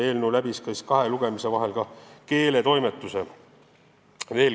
Eelnõu läbis kahe lugemise vahel ka keeletoimetuse.